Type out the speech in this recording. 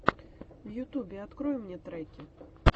в ютубе открой мне треки